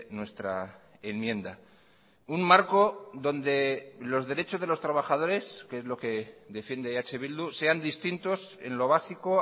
nuestra enmienda un marco donde los derechos de los trabajadores que es lo que defiende eh bildu sean distintos en lo básico